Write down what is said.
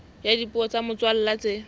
ya dipuo tsa motswalla tse